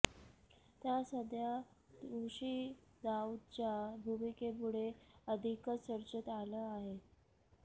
त्यात सध्या ऋषी दाऊदच्या भुमिकेमुळे अधिकच चर्चेत आला आहे